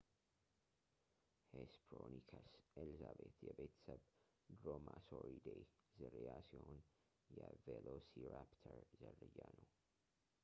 ሄስፐሮንይከስ ኤልዛቤት የቤተሰብ ድሮማሶሪዴ ዝርያ ሲሆን የ ቬሎሲራፕተር ዝርያ ነው